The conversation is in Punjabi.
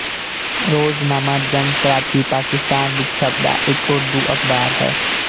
ਰੋਜ਼ਨਾਮਾ ਜੰਗ ਕਰਾਚੀ ਪਾਕਿਸਤਾਨ ਵਿੱਚ ਛਪਦਾ ਇੱਕ ਉਰਦੂ ਅਖਬਾਰ ਹੈ